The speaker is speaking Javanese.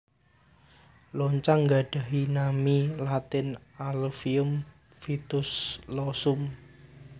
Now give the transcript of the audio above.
Loncang nggadhahi nami latin Allium Fistulosum